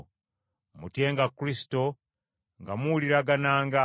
Mutyenga Kristo, nga muwuliragananga.